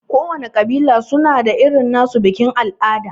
Kowana ƙabila suna da irin nasu bikin al'ada.